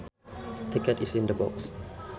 The cat is in the box